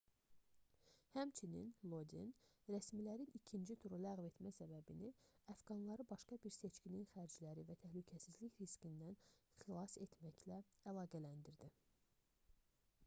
həmçinin lodin rəsmilərin ikinci turu ləğv etmə səbəbini əfqanları başqa bir seçkinin xərcləri və təhlükəsizlik riskindən xilas etməklə əlaqələndirdi